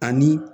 Ani